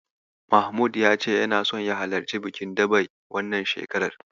Mahmud ya ce yana so ya halarci bikin daɓe wannan shekarar.